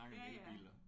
Ja ja